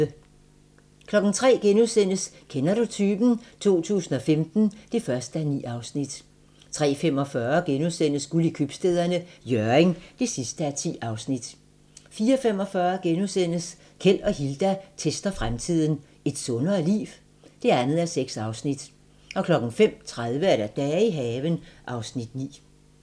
03:00: Kender du typen? 2015 (1:9)* 03:45: Guld i Købstæderne - Hjørring (10:10)* 04:45: Keld og Hilda tester fremtiden - Et sundere liv? (2:6)* 05:30: Dage i haven (Afs. 9)